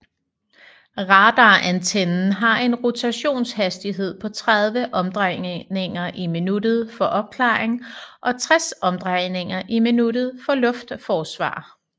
Radarantennen har en rotationshastighed på 30 omdrejninger i minuttet for opklaring og 60 omdrejninger i minuttet for luftforsvar